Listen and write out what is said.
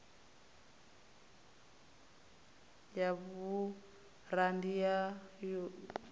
ya burandi ya v o